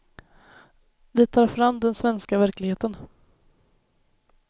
Vi tar fram den svenska verkligheten.